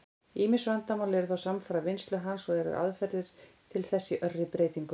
Ýmis vandamál eru þó samfara vinnslu hans, og eru aðferðir til þess í örri breytingu.